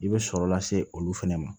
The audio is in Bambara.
I bɛ sɔrɔ lase olu fana ma